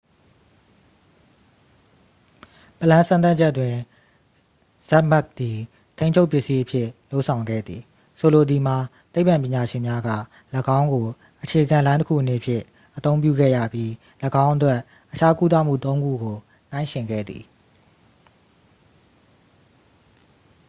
ပလမ်း စမ်းသပ်ချက်တွင် ဇက်မက်ပ် သည် ထိန်းချုပ်ပစ္စည်းအဖြစ် လုပ်ဆောင်ခဲ့သည် ဆိုလိုသည်မှာ သိပ္ပံပညာရှင်များက ၎င်းကို အခြေခံလိုင်းတစ်ခုအနေဖြင့် အသုံးပြုခဲ့ရပြီး ၎င်းအတွက် အခြားကုသမှုသုံးခုကို နှိုင်းယှဉ်ခဲ့သည်